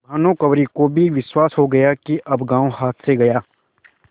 भानुकुँवरि को भी विश्वास हो गया कि अब गॉँव हाथ से गया